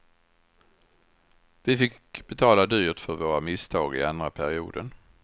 Vi fick betala dyrt för våra misstag i andra perioden.